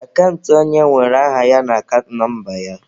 Akant onye nwere aha ya na akant nọmba ya.